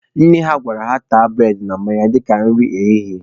Nne ha gwara ha taa bụredị na mmanya dịka nri ehihie.